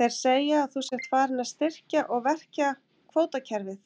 Þeir segja að þú sért farinn að styrkja og verkja kvótakerfið?